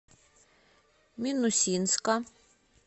минусинска